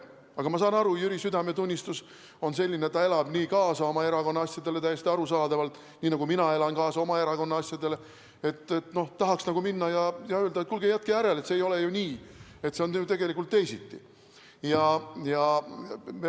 Aga ma saan aru, Jüri südametunnistus on selline, et ta elab nii kaasa oma erakonna asjadele, täiesti arusaadavalt, nii nagu mina elan kaasa oma erakonna asjadele, et tahaks minna ja öelda, et kuulge, jätke järele, see ei ole ju nii, see on tegelikult teisiti.